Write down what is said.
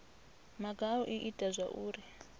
maga a u ita zwauri